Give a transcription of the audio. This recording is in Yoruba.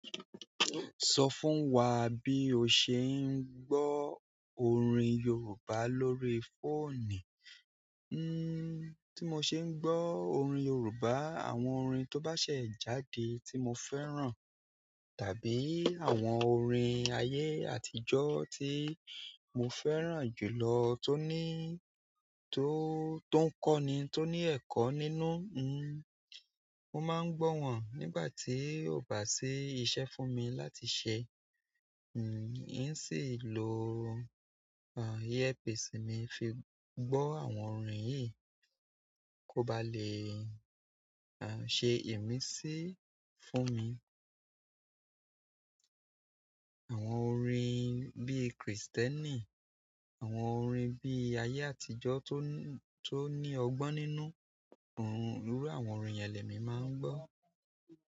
Sọ fún wa bí o ṣe ń gbọ́ orin Yorùbá lórí fóònù. Tí mo ṣe ń gbọ́ orin Yorùbá, àwọn orin tó bá ṣẹ̀ jáde tí mo fẹ́ràn, tàbí àwọn orin ayé àtijọ́ tí mo fẹ́ràn jùlọ tó níí tó, tó ń kọ́ ni, tó ní ẹ̀kọ́ nínú, mo máa ń gbọ́ wọn nígbà tí ó bá sí iṣẹ́ fún mi láti ṣe. N sì ń lo, earpiece mi fi gbọ́ àwọn orin yìí, kó ba lè, à, ṣe ìmísí fún mi. Àwọn orin bí Kristẹni, àwọn orin bí ayé àtijọ́ tó, tó ní ọgbọ́n nínú, ohùn irú àwọn orin yẹn lẹ mi máa ń gbọ́.